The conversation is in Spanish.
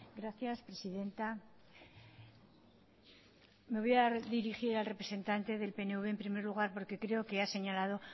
gracias presidenta me voy a dirigir al representante del pnv en primer lugar porque creo qua ha señalado